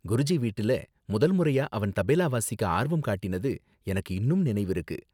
குருஜி வீட்டில முதல் முறையா அவன் தபேலா வாசிக்க ஆர்வம் காட்டினது எனக்கு இன்னும் நினைவிருக்கு.